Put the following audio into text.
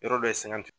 Yɔrɔ dɔ ye sɛgɛn